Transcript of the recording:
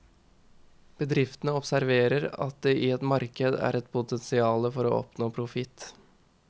Bedriftene observerer at det i et marked er et potensiale for å oppnå profitt.